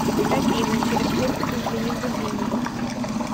афина через сколько зазвенит будильник